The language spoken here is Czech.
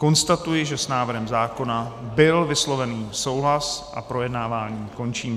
Konstatuji, že s návrhem zákona byl vysloven souhlas a projednávání končím.